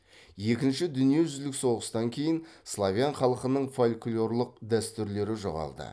екінші дүниежүзілік соғыстан кейін словен халқының фольклорлық дәстүрлері жоғалды